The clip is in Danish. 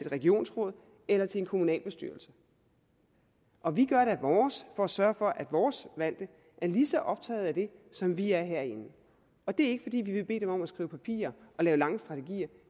regionsråd eller til en kommunalbestyrelse og vi gør da vores for at sørge for at vores valgte er lige så optaget af det som vi er herinde og det er ikke fordi vi vil bede dem om at skrive papirer og lave lange strategier